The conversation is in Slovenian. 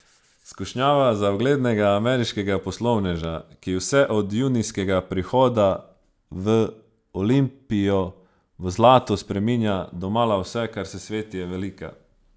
Skušnjava za uglednega ameriškega poslovneža, ki vse od junijskega prihoda v Olimpijo v zlato spreminja domala vse, kar se sveti, je velika.